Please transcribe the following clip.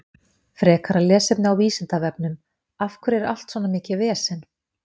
Frekara lesefni á Vísindavefnum: Af hverju er allt svona mikið vesen?